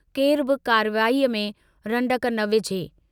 केरु बि कार्यवाहीअ में रंडक न विझे।